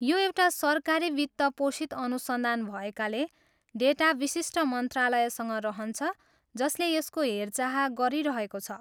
यो एउटा सरकारी वित्त पोषित अनुसन्धान भएकाले, डेटा विशिष्ट मन्त्रालयसँग रहन्छ जसले यसको हेरचाह गरिरहेको छ।